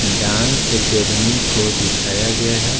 Dance academy को दिखाया गया है।